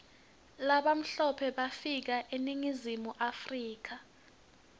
labamhlope bafika mga eningizimu africa